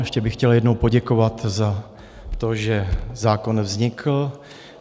Ještě bych chtěl jednou poděkovat za to, že zákon vznikl.